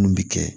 Mun bi kɛ